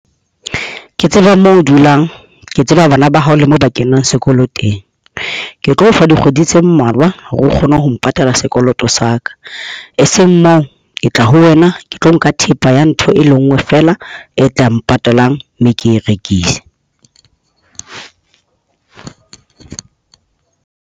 Ke tseba moo o dulang. Ke tseba bana ba hao le mo ba kenang sekolo teng. Ke tlo o fa dikgwedi tse mmalwa, hore o kgone ho mpatala sekoloto sa ka. E seng moo ke tla ho wena, ke tlo nka thepa ya ntho e le nngwe feela e tla mpatalang, mme ke e rekise.